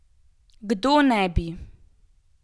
Kdo ne bi?